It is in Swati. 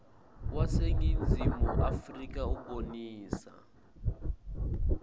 waseningizimu afrika ubonisa